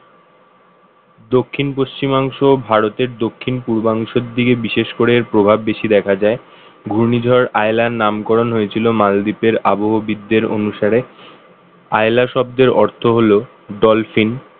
দক্ষিণ-পশ্চিমাংশ ভারতের দক্ষিণ পূর্বাংশের দিকে এর বিশেষ করে প্রভাব বেশি দেখা যায় ঘূর্ণিঝড় আইলার নামকরণ হয়েছিল মালদ্বীপের আবহবিদদের অনুসারে আইলা শব্দের অর্থ হল dolphin